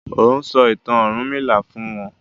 O n sọ ìtàn ọrunmila fún wón